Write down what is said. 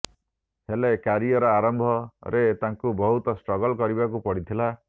ହେଲେ କ୍ୟାରିୟର ଆରମ୍ଭରେ ତାଙ୍କୁ ବହୁତ ଷ୍ଟ୍ରଗଲ କରିବାକୁ ପଡିଥିଲା